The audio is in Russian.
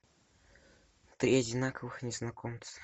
три одинаковых незнакомца